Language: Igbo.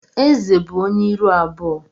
Ézè bụ ónyé ịrụ abụọ.